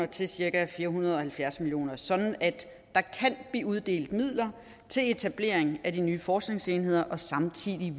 til cirka fire hundrede og halvfjerds million kr sådan at der kan blive uddelt midler til etablering af de nye forskningsenheder samtidig